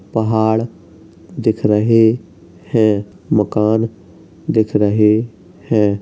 पहाड़ दिख रहें हैं। मकान दिख रहे हैं।